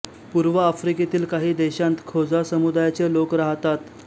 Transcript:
पूर्व आफ्रिकेतील काही देशांत खोजा समुदायाचे लोक राहतात